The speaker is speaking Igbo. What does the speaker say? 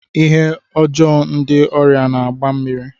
Ihe ọjọọ ndị ọrịa na-agba mmiri.